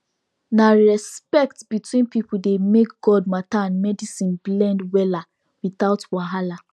na respect between people dey make god matter and medicine blend wella without wahala